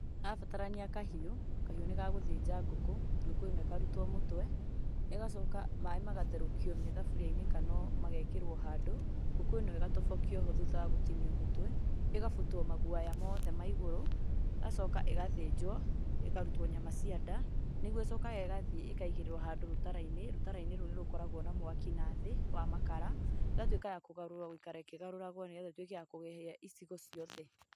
Arabatarania kahiu, kahiu nĩ gagũthĩnja ngũkũ na ĩkarutwo mũtwe, ĩgacoka maĩ magatherũkio me thaburiainĩ kana magekĩrwa handũ, ngũkũ ĩno ĩgatobokio thutha wa gũtinwa mũtwe, ĩkabutwa magũoya mothe ma igũrũ ĩgacooka ĩgathinjwoĩ ,karutwa nyama cia nda nĩguo ĩcokaga ĩgathiĩ ĩkaigĩrĩrwa handũ rũtarainĩ, rũtarainĩ rũu rũkoragwa na mwaki na thĩ rwa makara, ĩgatuĩka ya kũgarũrwa, ĩkĩgarũragwo nĩguo ĩtũĩke ya kũhĩa icigo ciothe.